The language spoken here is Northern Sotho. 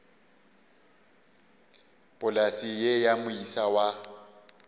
polase ye ya moisa wa